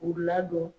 K'u ladon